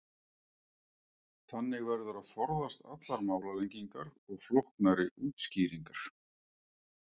þannig verður að forðast allar málalengingar og flóknari útskýringar